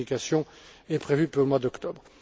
Cette communication est prévue pour le mois d'octobre.